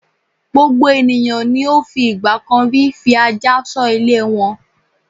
Gbogbo ènìyàn ni ó fi ìgbà kan rí fi ajá ṣọ́ ilé wọn.